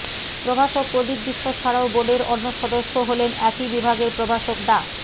প্রভাষক প্রদীপ বিশ্বাস ছাড়াও বোর্ডের অন্য সদস্য হলেন একই বিভাগের প্রভাষক ডা